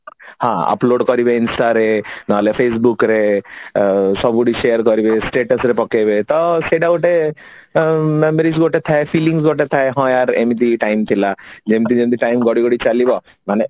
ହଁ upload କରିବେ Instant ରେ ନହଲେ facebook ରେ ସବୁଠି share କରିବେ status ରେ ପକେଇବେ ତ ସେଇଟା ଗୋଟେ memories ଗୋଟେ ଥାଏ fillings ଗୋଟେ ଥାଏ ହଁ ୟାର ଏମିତି time ଥିଲା ଯେମିତି ଯେମିତି time ଗଡିଗଡି ଚାଲିବ ମାନେ